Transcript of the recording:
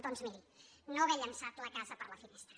doncs miri no haver llançat la casa per la finestra